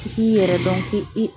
k'i yɛrɛ dɔn k'i i